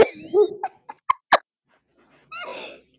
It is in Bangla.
শ